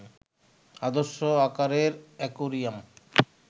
আদর্শ আকারের অ্যাকোয়ারিয়াম